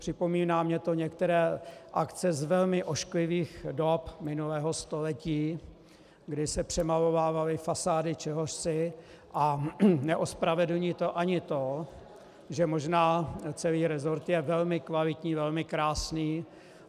Připomíná mně to některé akce z velmi ošklivých dob minulého století, kdy se přemalovávaly fasády čehosi, a neospravedlní to ani to, že možná celý resort je velmi kvalitní, velmi krásný.